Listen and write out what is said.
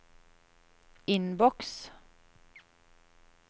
innboks